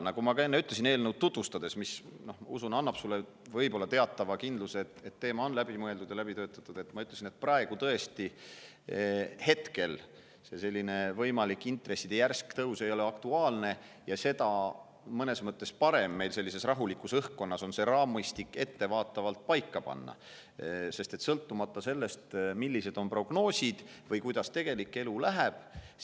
Nagu ma enne eelnõu tutvustades ütlesin – see, usun, annab sulle võib-olla teatava kindluse, et teema on läbi mõeldud ja läbi töötatud –, tõesti, hetkel ei ole intresside järsk tõus aktuaalne ja mõnes mõttes ongi parem sellises rahulikus õhkkonnas see raamistik ettevaatavalt paika panna, sõltumata sellest, millised on prognoosid või kuidas elu läheb.